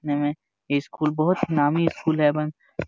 ये स्कूल बहुत ही नामी स्कूल एवन --